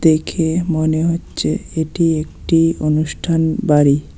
দেখে মনে হচ্ছে এটি একটি অনুষ্ঠান বাড়ি।